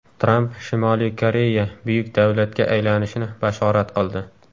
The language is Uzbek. Tramp Shimoliy Koreya buyuk davlatga aylanishini bashorat qildi.